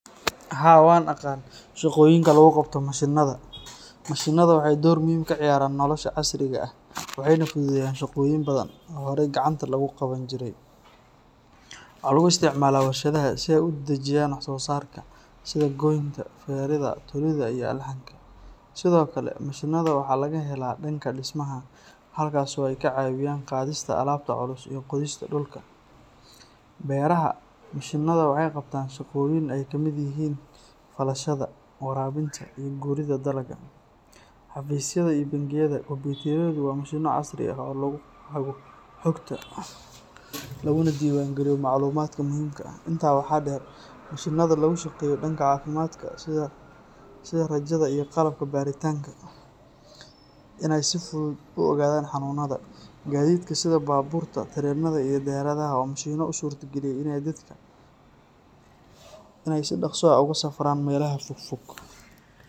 Haa, waan aqaan shaqooyinka lagu qabto mashiinnada. Mashiinnadu waxay door muhiim ah ka ciyaaraan nolosha casriga ah, waxayna fududeeyaan shaqooyin badan oo horay gacanta lagu qaban jiray. Waxaa lagu isticmaalaa warshadaha si ay u dedejiyaan wax-soo-saarka, sida goynta, feeridda, tolidda, iyo alxanka. Sidoo kale, mashiinnada waxaa laga helaa dhanka dhismaha, halkaas oo ay ka caawiyaan qaadista alaabta culus iyo qodista dhulka. Beeraha, mashiinnadu waxay qabtaan shaqooyin ay ka mid yihiin falashada, waraabinta, iyo guridda dalagga. Xafiisyada iyo bangiyada, kombuyuutarradu waa mashiinno casri ah oo lagu hago xogta, laguna diiwaan geliyo macluumaadka muhiimka ah. Intaa waxaa dheer, mashiinnada lagu shaqeeyo dhanka caafimaadka sida raajada iyo qalabka baaritaanka gudaha jidhka waxay u suurtageliyeen dhakhaatiirta inay si fudud u ogaadaan xanuunada. Gaadiidka sida baabuurta, tareenada, iyo diyaaradaha waa mashiinno u suurta galiyay in dadku ay si dhakhso ah ugu safraan meelaha fog fog.